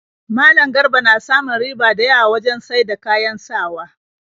Malam Garba na samun riba da yawa wajen saida kayan sawa